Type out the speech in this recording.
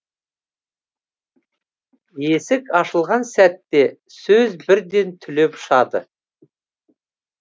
есік ашылған сәтте сөз бірден түлеп ұшады